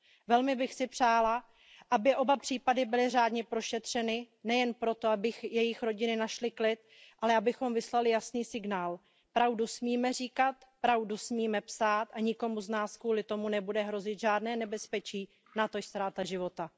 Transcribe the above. Velmi bych si přála, aby oba případy byly řádně prošetřeny, nejen proto, aby jejich rodiny našly klid, ale abychom vyslali jasný signál pravdu smíme říkat, pravdu smíme psát a nikomu z nás kvůli tomu nebude hrozit žádné nebezpečí, natož ztráta života.